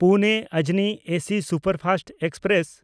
ᱯᱩᱱᱮ-ᱚᱡᱽᱱᱤ AC superfast express